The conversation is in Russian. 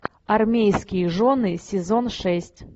армейские жены сезон шесть